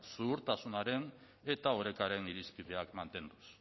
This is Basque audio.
zuhurtasunaren eta orekaren irizpideak mantenduz